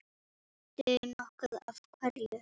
Veistu nokkuð af hverju?